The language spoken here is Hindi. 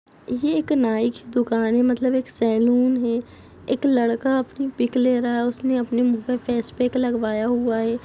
ये एक नाइ की दुकान है मतलब एक सैलून है एक लड़का आपनी पिक ले रहा है उसने उसमे मुह पे फेस पेक लगवाया हुआ है।